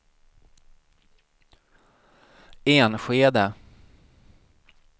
Enskede